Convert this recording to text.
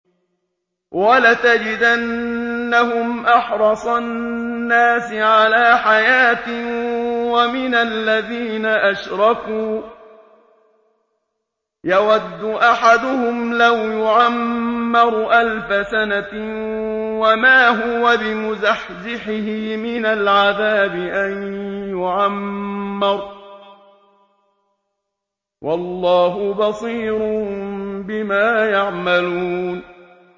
وَلَتَجِدَنَّهُمْ أَحْرَصَ النَّاسِ عَلَىٰ حَيَاةٍ وَمِنَ الَّذِينَ أَشْرَكُوا ۚ يَوَدُّ أَحَدُهُمْ لَوْ يُعَمَّرُ أَلْفَ سَنَةٍ وَمَا هُوَ بِمُزَحْزِحِهِ مِنَ الْعَذَابِ أَن يُعَمَّرَ ۗ وَاللَّهُ بَصِيرٌ بِمَا يَعْمَلُونَ